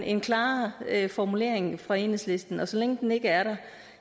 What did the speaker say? en klarere formulering fra enhedslisten og så længe den ikke er der